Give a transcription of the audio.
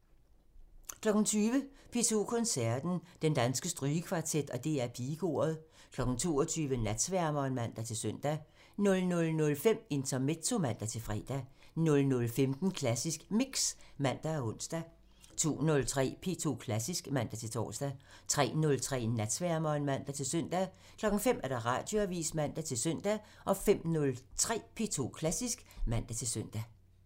20:00: P2 Koncerten – Den Danske Strygekvartet og DR Pigekoret 22:00: Natsværmeren (man-søn) 00:05: Intermezzo (man-fre) 00:15: Klassisk Mix (man og ons) 02:03: P2 Klassisk (man-tor) 03:03: Natsværmeren (man-søn) 05:00: Radioavisen (man-søn) 05:03: P2 Klassisk (man-søn)